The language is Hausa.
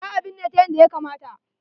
Za a binne ta yadda ya kamata.